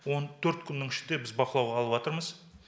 он төрт күннің ішінде біз бақылауға алыватырмыз